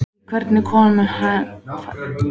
Í hvers konar heim fæddi hún hann eiginlega?